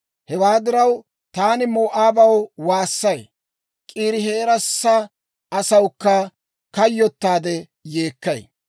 Hewaa diraw, taani Moo'aabaw waassay; K'iirihereesa asawukka kayyottaade yeekkay.